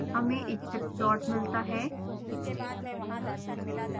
हमें इच्छित प्लॉट मिलता है